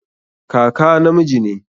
Kaka namiji ne